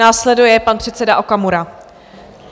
Následuje pan předseda Okamura.